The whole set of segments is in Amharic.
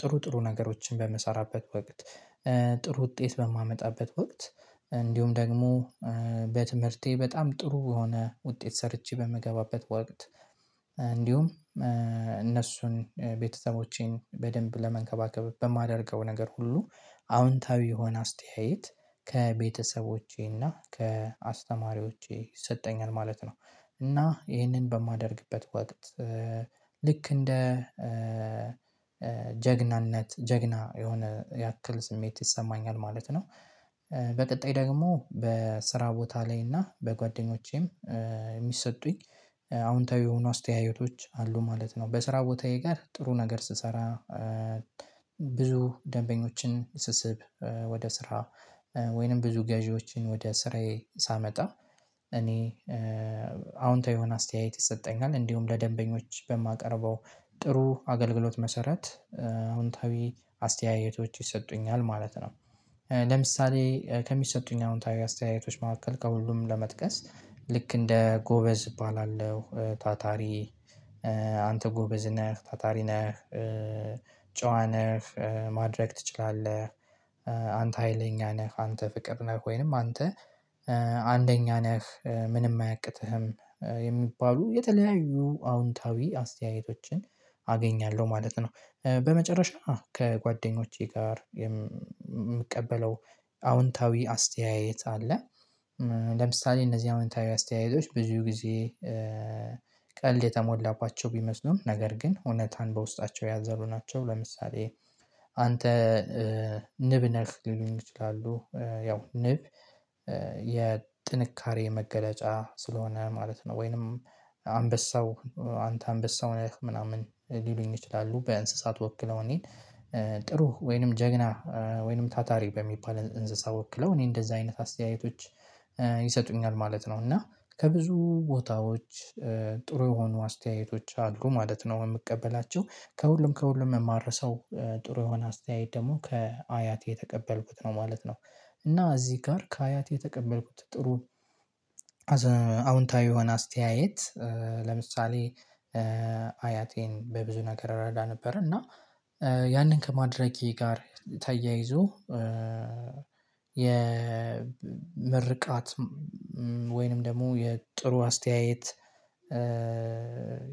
ጥሩ ጥሩ ነገሮችን በምሰራበት ወቅት ጥሩ ውጤት በማመጣበት ወቅት እንዲሁም ደግሞ በትምህርቴ በጣም ጥሩ የሆነ ውጤት ሰርቼ በምገባበት ወቅት እንዲሁም እነሱን ቤተሰቦቼን በደንብ ለመንከባከብ በማደርገው ነገር ሁሉ አዎንታዊ የሆነ አስተያየት ከቤተሰቦቼና ከአስተማሪዎቼ ይሰጠኛል ማለት ነው። እና ይሄንን በማደርግበት ወቅት ልክ እንደ ጀግናነት ጀግና የሆነ ያክል ስሜት ይሰማኛል ማለት ነው። በቀጣይ ደግሞ በስራ ቦታ ላይ እና በጓደኞቼም የሚሰጡኝ አዎንታዊ የሆኑ አስተያየቶች አሉ ማለት ነው። በስራ ቦታዬ ጋር ጥሩ ነገር ስሰራ ብዙ ደንበኞችን ስስብ ወደ ስራ ወይንም ብዙ ገዢዎችን ወደ ስራዬ ሳመጣ እኔ አዎንታዊ የሆነ አስተያየት ይሰጠኛል እንዲሁም ለደንበኞች በማቀርበው ጥሩ አገልግሎት መሰረት አዎንታዊ አስተያየቶች ይሰጡኛል ማለት ነው። ለምሳሌ ከሚሰጡኝ አዎንታዊ አስተያየቶች መካከል ከሁሉም ለመጥቀስ ልክ እንደ ጎበዝ እባላለሁ ታታሪ አንተ ጎበዝ ነህ ታታሪ ነህ ጨዋ ነህ ማድረግ ትችላለህ አንተ ሀይለኛ ነህ አንተ ፍቅር ነህ ወይንም አንተ አንደኛ ነህ ምንም አያቅትህም የሚባሉ የተለያዩ አዎንታዊ አስተያየቶችን አገኛለሁ ማለት ነው። በመጨረሻ አዎ ከጓደኞቼ ጋር የምቀበለው አዎንታዊ አስተያየት አለ። ለምሳሌ እነዚህ አዎንታዊ አስተያየቶች ብዙ ጊዜ ቀልድ የተሞላባቸው ቢመስሉም ነገር ግን እውነትን በውስጣቸው ያዘሉ ናቸው። ለምሳሌ አንተ ንብ ነህ ሊሉኝ ይችላሉ ያው ንብ የጥንካሬ መገለጫ ስለሆነ ማለት ነው። ወይንም አንበሳው አንተ አንበሳው ነህ ምናምን ሊሉኝ ይችላሉ በእንስሳት ወክለው እኔን ጥሩ ወይንም ጀግና ወይንም ታታሪ በሚባል እንስሳ ወክለው እኔ እንደዛ አይነት አስተያየቶች ይሰጡኛል ማለት ነው። እና ከብዙ ቦታዎች ጥሩ የሆኑ አስተያየቶች አድሮ ማለት ነው የምቀበላቸው ከሁሉም ከሁሉም የማረሰው ጥሩ የሆነ አስተያየት ደግሞ ከአያቴ የተቀበልኩት ነው ማለት ነው። እና እዚህ ጋር ከአያቴ የተቀበልኩት ጥሩ አዎንታዊ የሆነ አስተያየት ለምሳሌ አያቴን በብዙ ነገር እረዳ ነበር እና ያንን ከማድረጌ ጋር ተያይዞ የምርቃት ወይንም ደግሞ የጥሩ አስተያየት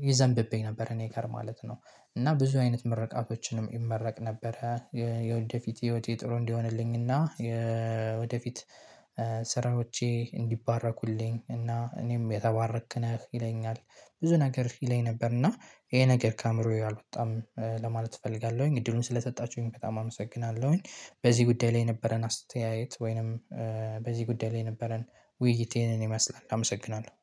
ይዘንብብኝ ነበር እኔ ጋር ማለት ነው። እና ብዙ አይነት መረቃቶችንም ይመረቅ ነበረ። የወደፊት ህይወቴ ጥሩ እንዲሆንልኝና የወደፊት ሥራዎቼ እንዲባረኩልኝ እና እኔም የተባረክ ነህ ይለኛል። ብዙ ነገር ይለኝ ነበር እና ይሄ ነገር ከአእምሮዬ አልወጣም ለማለት እፈልጋለሁኝ እድሉን ስለሰጣችሁኝ በጣም አመሰግናለሁኝ። በዚህ ጉዳይ ላይ የነበረን አስተያየት ወይንም በዚህ ጉዳይ ላይ የነበረን ውይይት ይህን ይመስላል አመሰግናለሁ።